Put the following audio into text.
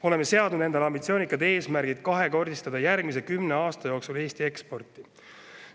Oleme seadnud endale ambitsioonika eesmärgi kahekordistada järgmise kümne aasta jooksul Eesti eksporti.